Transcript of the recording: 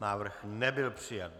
Návrh nebyl přijat.